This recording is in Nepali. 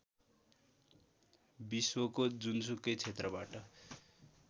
विश्वको जुनसुकै क्षेत्रबाट